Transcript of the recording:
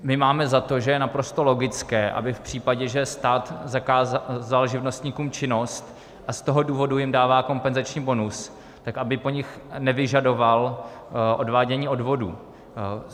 My máme za to, že je naprosto logické, aby v případě, že stát vzal živnostníkům činnost a z toho důvodu jim dává kompenzační bonus, tak aby po nich nevyžadoval odvádění odvodů.